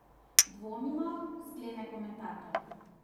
Dvomimo, sklene komentator.